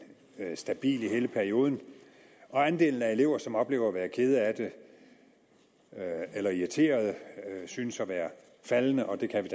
stabil i hele perioden og andelen af elever som oplever at være kede af det eller irriterede synes at være faldende og det kan vi